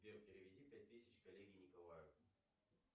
сбер переведи пять тысяч коллеге николаю